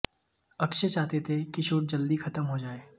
अक्षय चाहते थे कि शूट जल्दी खत्म हो जाए